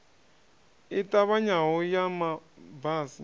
i ṱavhanyaho ya ma basi